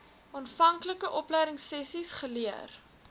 aanvanklike opleidingsessies geleer